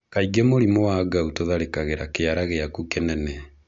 Kaingĩ mũrimũ wa gout ũtharĩkagĩra kĩara giaku kĩnene.